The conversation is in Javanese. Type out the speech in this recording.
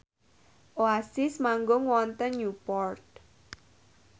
Oasis manggung wonten Newport